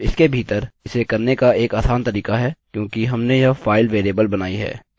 अब इसके भीतर इसे करने का एक आसान तरीका है क्योंकि हमने यह फाइल वेरिएबल बनाई है